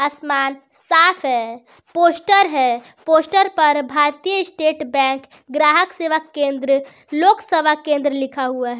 आसमान साफ है पोस्टर है पोस्टर पर भारतीय स्टेट बैंक ग्राहक सेवा केंद्र लोकसभा केंद्र लिखा हुआ है।